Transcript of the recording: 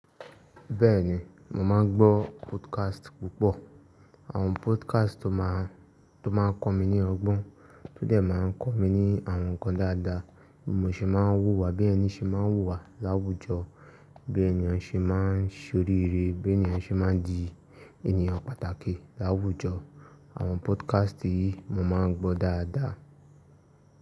Bẹ́ẹ̀ni, mo máa gbọ́ podcast púpọ̀. Àwọn podcast tó máa, tó máa ń kọ́ mi ní ọgbọ́n, tó dẹ̀ máa ń kọ́ mi ní àwọn nǹkan dáadáa, bí mo ṣe máa ń hùwà, bí ẹni ṣe máa ń hùwà láwùjọ, bí ènìyàn ṣe máa ń ṣe oríire, bí ènìyàn ṣe máa ń di ènìyàn pàtàkì láwùjọ. Àwọn podcast yìí mo máa ń gbọ́ dáadáa.